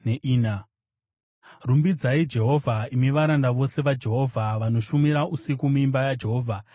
Rumbidzai Jehovha, imi varanda vose vaJehovha, vanoshumira usiku muimba yaJehovha.